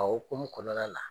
A hokumu kɔnɔnala